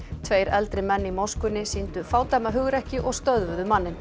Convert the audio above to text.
tveir eldri menn í moskunni sýndu fádæma hugrekki og stöðvuðu manninn